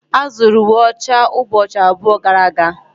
A zụrụ uwe ọcha ụbọchị abụọ gara aga.